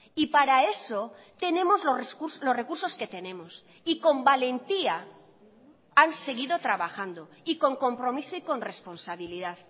y para eso tenemos los recursos que tenemos y con valentía han seguido trabajando y con compromiso y con responsabilidad